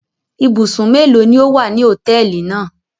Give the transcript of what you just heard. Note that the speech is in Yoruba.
Ibùsùn mélòó ni ó wà ní hòtẹ́ẹ́lì náà?